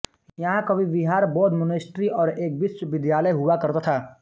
यहाँ कभी विहार बोद्ध मोनेस्ट्री और एक विश्वविद्यालय हुआ करता था